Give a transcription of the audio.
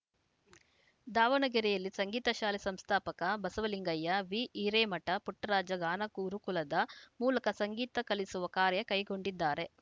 ದಾವಣಗೆರೆಯಲ್ಲಿ ಸಂಗೀತ ಶಾಲೆ ಸಂಸ್ಥಾಪಕ ಬಸವಲಿಂಗಯ್ಯ ವಿ ಹಿರೇಮಠ ಪುಟ್ಟರಾಜ ಗಾನ ಗುರುಕುಲದ ಮೂಲಕ ಸಂಗೀತ ಕಲಿಸುವ ಕಾರ್ಯ ಕೈಗೊಂಡಿದ್ದಾರೆ